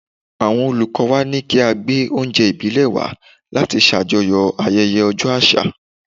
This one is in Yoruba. Àwọn Olùkọ́ọ wa ní kí a gbé oúnjẹ ìbílẹ̀ wá láti ṣàjọyọ̀ ayẹyẹ ọjọ́ àṣà.